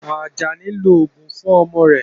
Ajani ń lo oògùn fún ọmọ rẹ̀